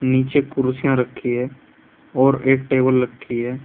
नीचे कुर्सियां रखी हैं और एक टेबल लखी है।